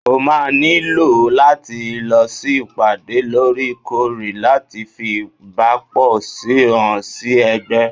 o ma niló lati losí ìpàdé lorẹ̀-korẹ̀ láti fí ìbápo sí hàn sí Ègbé